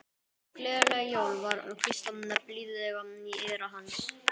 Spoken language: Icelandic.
Gleðileg jól var hvíslað blíðlega í eyra hans.